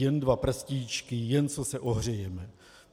Jen dva prstíčky, jen co se ohřejeme...